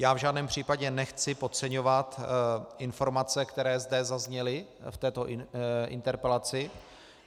Já v žádném případě nechci podceňovat informace, které zde zazněly v této interpelaci.